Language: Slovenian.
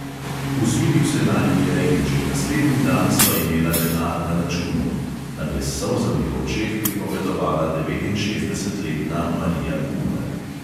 "Usmilil se naju je in že naslednji dan sva imela denar na računu," nam je s solzami v očeh pripovedovala devetinšestdesetletna marija kumer.